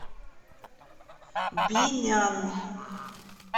бинян